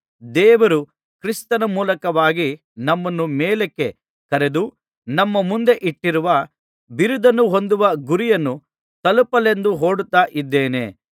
ದೇವರು ಕ್ರಿಸ್ತನ ಮೂಲಕವಾಗಿ ನಮ್ಮನ್ನು ಮೇಲಕ್ಕೆ ಕರೆದು ನಮ್ಮ ಮುಂದೆ ಇಟ್ಟಿರುವ ಬಿರುದನ್ನು ಹೊಂದುವ ಗುರಿಯನ್ನು ತಲುಪಲೆಂದು ಓಡುತ್ತಾ ಇದ್ದೇನೆ